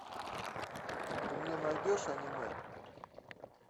ты мне найдешь аниме